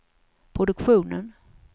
produktionen